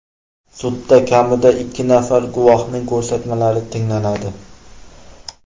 Sudda kamida ikki nafar guvohning ko‘rsatmalari tinglanadi.